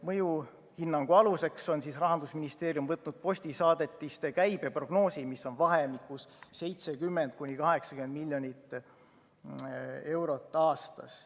Mõjuhinnangu aluseks on Rahandusministeerium võtnud postisaadetiste käibe prognoosi, mis on vahemikus 70–80 miljonit eurot aastas.